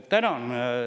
Tänan!